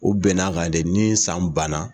U bɛnn'a kan de ni san banna